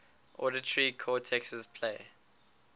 auditory cortexes play